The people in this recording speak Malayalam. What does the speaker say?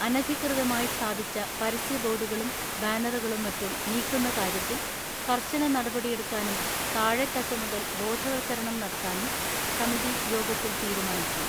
അനധികൃത മായി സ്ഥാപിച്ച പരസ്യബോർഡുകളും ബാനറുകളും മറ്റും നീക്കുന്ന കാര്യത്തിൽ കർശന നടപടിയെടുക്കാനും താഴെത്തട്ടു മുതൽ ബോധവത്കരണം നടത്താനും സമിതി യോഗത്തിൽ തീരുമാനിച്ചു